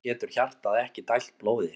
Þá getur hjartað ekki dælt blóði.